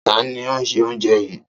Ta ni ó se oúnjẹ yìí?